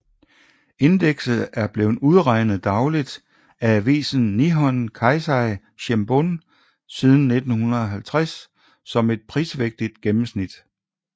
Indekset er blevet udregnet dagligt af avisen Nihon Keizai Shimbun siden 1950 som et prisvægtet gennenmsnit